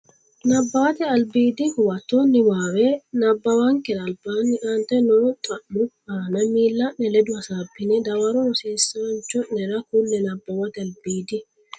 Nabbawate Albiidi Huwato Niwaawe nabbawankera albaanni aante xa mo aana miilla ne ledo hasaabbine dawaro rosiisaanchi o nera kulle Nabbawate Albiidi.